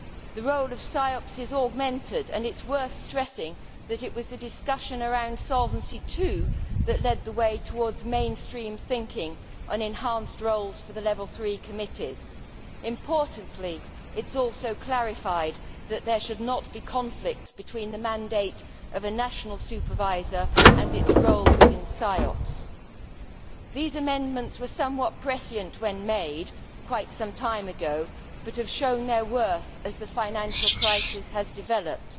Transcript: The role of CEIOPS is augmented, and it is worth stressing that it was the discussion around Solvency II that led the way towards mainstream thinking on enhanced roles for the Level 3 committees. Importantly, it is also clarified that there should not be conflicts between the mandate of a national supervisor and its role within CEIOPS. These amendments were somewhat prescient when made quite some time ago, but have shown their worth as the financial crisis has developed.